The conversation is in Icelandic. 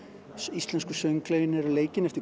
íslensku sönglögin eru leikin eftir